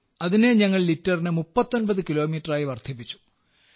അതിനെ ഞങ്ങൾ ലിറ്ററിന് 39 കിലോമീറ്ററായി വർദ്ധിപ്പിച്ചു